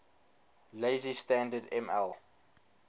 lazy standard ml